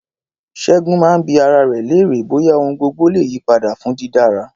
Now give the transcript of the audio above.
Ṣẹ́gun máa ń bi ara rẹ̀ léèrè bóyá ohun gbogbo le yí padà fún dídára.